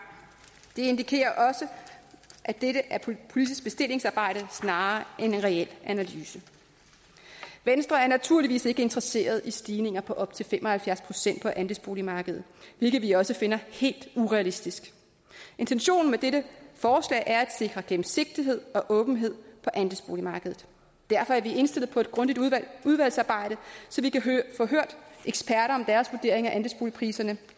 det indikerer også at dette er politisk bestillingsarbejde snarere end en reel analyse venstre er naturligvis ikke interesseret i stigninger på op til fem og halvfjerds procent på andelsboligmarkedet hvilket vi også finder helt urealistisk intentionen med dette forslag er at sikre gennemsigtighed og åbenhed på andelsboligmarkedet derfor er vi indstillet på et grundigt udvalgsarbejde så vi kan få hørt eksperter om deres vurdering af andelsboligpriserne